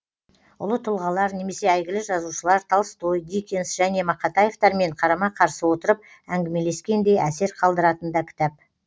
ұлы тұлғалар немесе әйгілі жазушылар толстой диккенс және мақатаевтермен қарама қарсы отырып әңгімелескендей әсер қалдыратын да кітап